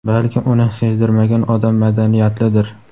balki uni sezdirmagan odam madaniyatlidir!.